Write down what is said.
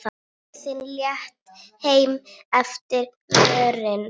Tröðin létt heim eftir vöðin.